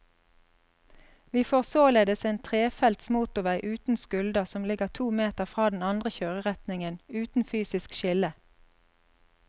Vi får således en trefelts motorvei uten skulder som ligger to meter fra den andre kjøreretningen, uten fysisk skille.